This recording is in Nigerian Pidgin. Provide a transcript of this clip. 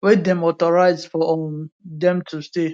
wey dem authorize for um dem to stay